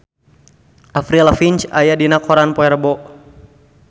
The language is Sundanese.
Avril Lavigne aya dina koran poe Rebo